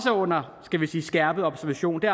under skærpet observation og det